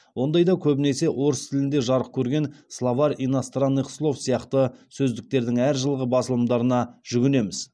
ондайда көбінесе орыс тілінде жарық көрген словарь иностранных слов сияқты сөздіктердің әр жылғы басылымдарына жүгінеміз